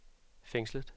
fængslet